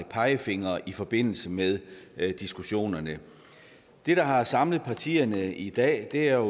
pegefingre i forbindelse med diskussionerne det der har samlet partierne i dag er